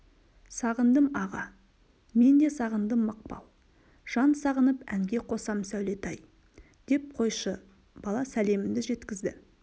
сағындым аға мен де сағындым мақпал жан сағынып әнге қосам сәулетай деп қойшы бала сәлемімді жеткізді